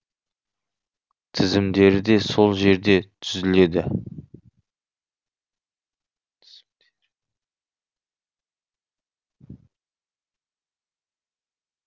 тізімдері де сол жерде түзіледі